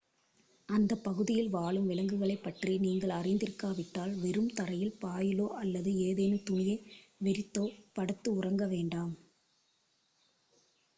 அந்தப் பகுதியில் வாழும் விலங்குகளைப் பற்றி நீங்கள் அறிந்திருக்காவிட்டால் வெறும் தரையில் பாயிலோ அல்லது ஏதேனும் துணியை விரித்தோ படுத்து உறங்க வேண்டாம்